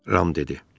deyə Ram dedi.